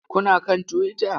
Kuna kan Twitter?